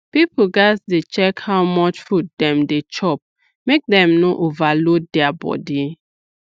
people gats dey check how much food dem dey chop make dem no overload their body